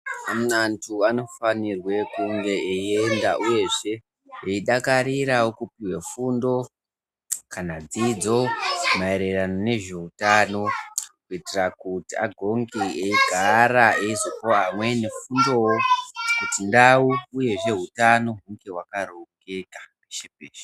Amwe antu anofanirwe kunge eienda uyezve .eidakarirawo kupuwe fundo kana dzidzo maererano nezveutano kuitira kuti agonge eigara eizopawo amweni fundowo kuti ndau uyezve hutano hunge hwakarongeka.